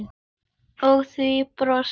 Og þú brosir.